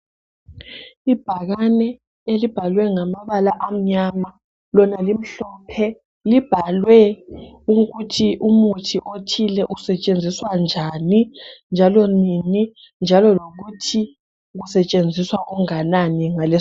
Ibhakene elibhalwe ngamabala amnyama lona limhlophe, libhalwe ukuthi umuthi othile usetshenziswa njalo nini, njalo lokuthi usetshenziswa unganani ngales.